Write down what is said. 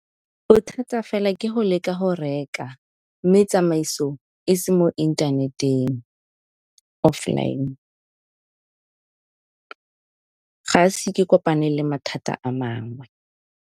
Bothata fela ke go leka go reka mme tsamaiso e se mo inthaneteng, offline ga ise ke kopane le mathata a mangwe.